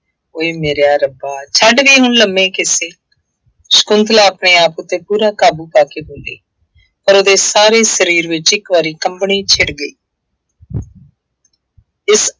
ਉਏ ਮੇਰਿਆ ਰੱਬਾ ਛੱਡ ਵੀ ਹੁਣ ਲੰਮੇ ਕਿੱਸੇ ਸ਼ੰਕੁਤਲਾ ਆਪਣੇ ਆਪ ਉੱਤੇ ਪੂਰਾ ਕਾਬੂ ਕਰਕੇ ਬੋਲੀ। ਪਰ ਉਹਦੇ ਸਾਰੇ ਸਰੀਰ ਵਿੱਚ ਇੱਕ ਵਾਰੀ ਕੰਬਣੀ ਛਿੜ ਗਈ। ਇਸ